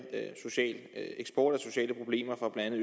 eksport af sociale problemer fra blandt